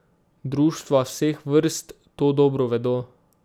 Društva vseh vrst to dobro vedo.